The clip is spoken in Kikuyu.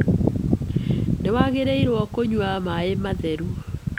Nĩwagĩrĩirwo kũnyua maĩ matheru.